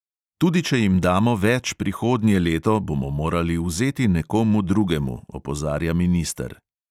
Tudi če jim damo več prihodnje leto, bomo morali vzeti nekomu drugemu, opozarja minister.